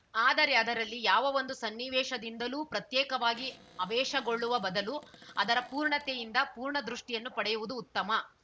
ಆದರೆ ಅದರಲ್ಲಿ ಯಾವ ಒಂದು ಸನ್ನಿವೇಶದಿಂದಲೂ ಪ್ರತ್ಯೇಕವಾಗಿ ಅವೇಶಗೊಳ್ಳುವ ಬದಲು ಅದರ ಪೂರ್ಣತೆಯಿಂದ ಪೂರ್ಣದೃಷ್ಟಿಯನ್ನು ಪಡೆಯುವುದು ಉತ್ತಮ